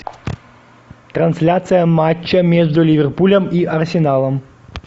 трансляция матча между ливерпулем и арсеналом